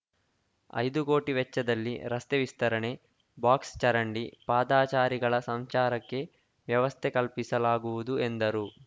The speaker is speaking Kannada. ಐದು ಕೋಟಿ ವೆಚ್ಚದಲ್ಲಿ ರಸ್ತೆ ವಿಸ್ತರಣೆ ಬಾಕ್ಸ್‌ ಚರಂಡಿ ಪಾದಾಚಾರಿಗಳ ಸಂಚಾರಕ್ಕೆ ವ್ಯವಸ್ಥೆ ಕಲ್ಪಿಸಲಾಗುವುದು ಎಂದರು